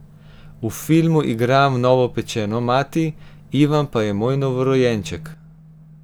V filmu igram novopečeno mati, Ivan pa je moj novorojenček.